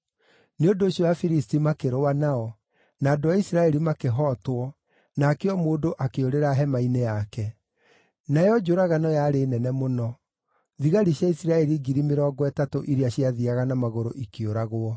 Nĩ ũndũ ũcio Afilisti makĩrũa nao, na andũ a Isiraeli makĩhootwo, nake o mũndũ akĩũrĩra hema-inĩ yake. Nayo njũragano yarĩ nene mũno; thigari cia Isiraeli ngiri mĩrongo ĩtatũ iria ciathiiaga na magũrũ ikĩũragwo.